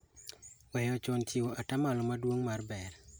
Weyo chon chiwo atamalo maduong' mar ber.